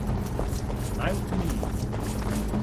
Naj utemeljimo.